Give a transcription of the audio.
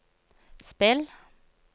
spill